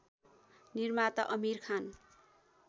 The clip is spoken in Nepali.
निर्माता आमिर खान